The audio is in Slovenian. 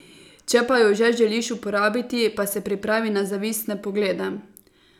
Če pa jo že želiš uporabiti, pa se pripravi na zavistne poglede.